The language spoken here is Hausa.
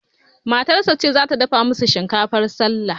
Matarsa ce zata dafa musu shinkafar sallah